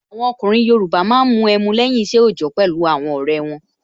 Àwọn ọkùnrin Yoruba máa ń mu ẹmu lẹ́yìn isẹ ojọ pẹ̀lú àwọn ọrẹ won